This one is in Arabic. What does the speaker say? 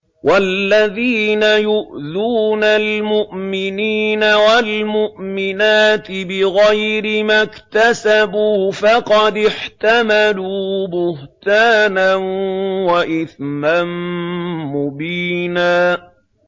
وَالَّذِينَ يُؤْذُونَ الْمُؤْمِنِينَ وَالْمُؤْمِنَاتِ بِغَيْرِ مَا اكْتَسَبُوا فَقَدِ احْتَمَلُوا بُهْتَانًا وَإِثْمًا مُّبِينًا